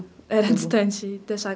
Era distante da